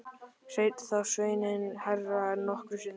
Hrein þá sveinninn hærra en nokkru sinni.